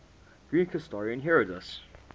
greek historian herodotus